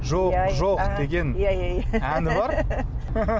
жоқ жоқ деген иә иә әні бар